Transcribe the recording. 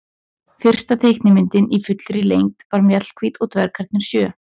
Fyrsta teiknimyndin í fullri lengd var Mjallhvít og dvergarnir sjö.